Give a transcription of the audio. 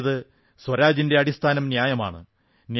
അതായത് സ്വരാജിന്റെ അടിസ്ഥാനം ന്യായമാണ്